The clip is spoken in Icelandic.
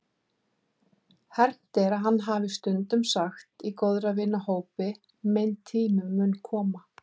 Hermt er að hann hafi stundum sagt í góðra vina hópi: Minn tími mun koma.